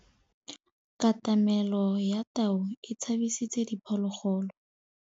Katamêlô ya tau e tshabisitse diphôlôgôlô.